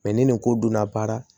ni nin ko donna baara